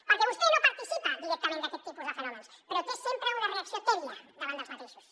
perquè vostè no participa directament d’aquest tipus de fenòmens però té sempre una reacció tèbia davant d’aquests fenòmens